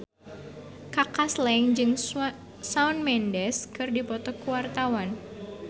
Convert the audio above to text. Kaka Slank jeung Shawn Mendes keur dipoto ku wartawan